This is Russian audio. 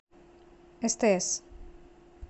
стс